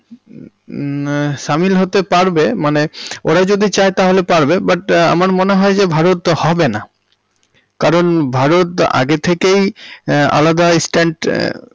হমম সামিল হতে পারবে। মানে ওরা যদি চায় তাহলে পারবে but আমার মনে হয় যে ভারত হবে না, কারণ ভারত আগে থেকেই আলাদা ইস্ট্যান্ড।